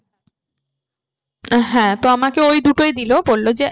হ্যাঁ তো আমাকে ওই দুটোই দিলো বললো যে